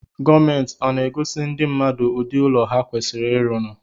Gomenti ọ na-agosi ndi mmadụ ụdị ụlọ ha kwasiri ịrụnụ?